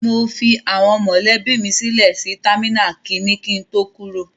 I left my family members at terminal one before I departed.